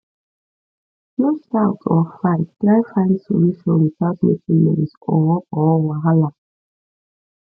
no shout or fight try find solution without making noise or or wahala